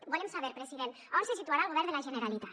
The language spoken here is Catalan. volem saber president a on se situarà el govern de la generalitat